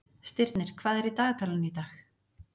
Stirnir, hvað er í dagatalinu í dag?